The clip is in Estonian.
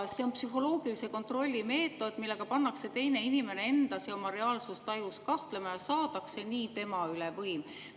See on psühholoogilise kontrolli meetod, millega pannakse teine inimene endas ja oma reaalsustajus kahtlema ning saadakse nii tema üle võim.